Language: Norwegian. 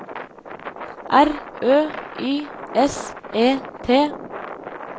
R Ø Y S E T